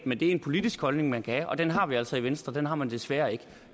men det er en politisk holdning man kan have og den har vi altså i venstre men den har man desværre ikke